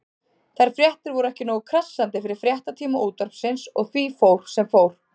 Þær fréttir voru ekki nógu krassandi fyrir fréttatíma Útvarpsins og því fór sem fór.